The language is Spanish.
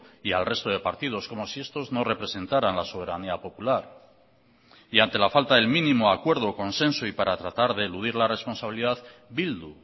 y al resto de partidos como si estos no representarán la soberanía popular y ante la falta del mínimo acuerdo consenso y para tratar de eludir la responsabilidad bildu